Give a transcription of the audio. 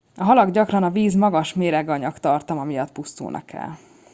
a halak gyakran a víz magas méreganyag tartalma miatt pusztulnak el